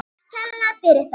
Takk kærlega fyrir það.